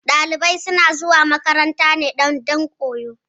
Ɗalibai suna zuwa makaranta ne dan koyo